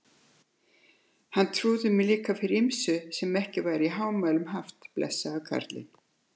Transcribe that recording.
Hann trúði mér líka fyrir ýmsu sem ekki var í hámæli haft, blessaður kallinn.